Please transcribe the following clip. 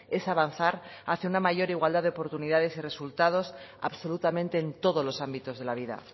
es avanzar hacia una mayor igualdad de oportunidades y resultados absolutamente en todos los ámbitos de la vida